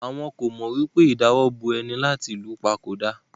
Àwọn ko mọ wipe ìdawọ́bò ẹni láti lu pa ko da?